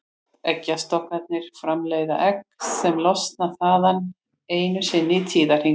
Eggjastokkarnir framleiða egg sem losna þaðan einu sinni í tíðahring.